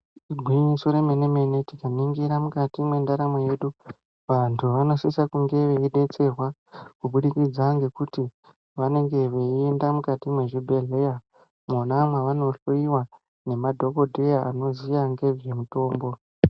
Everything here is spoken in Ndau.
Igwinyiso remene mene tikaningira mukati mwendaramo yedu vantu vanosise kunge veidetserwa kubudikidza ngekuti vanenge veiende mukati mwezvibhedhleya. Mwona mwevanohloyiwa ngemadhokodheya anoziye ngezvemitombo.